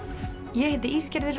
ég heiti